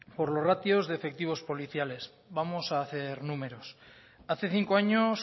por los ratios defectivos policiales vamos a hacer números hace cinco años